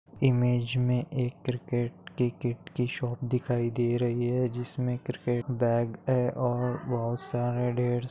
image में एक cricket के कीट की शॉप दिखाई दे रही है जिसमे क्रिकेट बॅग है और बहुत सारे ढेर सा--